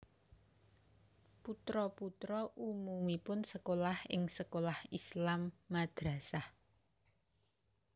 Putra putra umumipun sekolah ing sekolah Islam madrasah